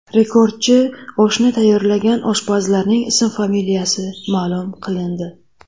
Rekordchi oshni tayyorlagan oshpazlarning ism-familiyasi ma’lum qilindi.